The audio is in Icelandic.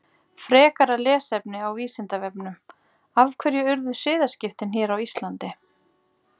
Frekara lesefni á Vísindavefnum: Af hverju urðu siðaskiptin hér á Íslandi?